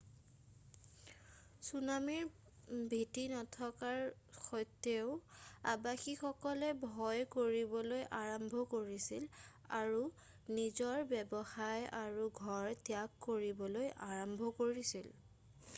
চুনামীৰ ভীতি নথকাৰ সত্ত্বেও আৱাসীসকলে ভয় কৰিবলৈ আৰম্ভ কৰিছিল আৰু নিজৰ ব্যৱসায় আৰু ঘৰ ত্যাগ কৰিবলৈ আৰম্ভ কৰিছিল৷